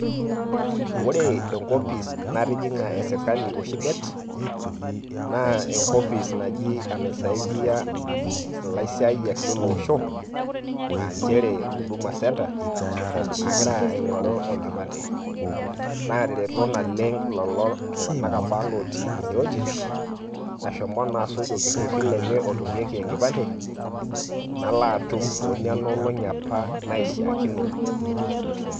Ore enkopis natijing'a esirkali oshi det, na enkopis naji enasaidia ilasiayiak le loosho, ah njere huduma centre ,agira aing'oru enkipande. Natareto naleng' lelo tung'anak apa lotii inewueji, ashomo naa asuj orkerrerri lenye otumieki enkipande, nalo atum to nenolong'i apa naishaakino.